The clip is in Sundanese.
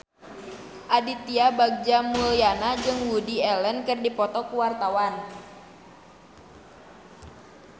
Aditya Bagja Mulyana jeung Woody Allen keur dipoto ku wartawan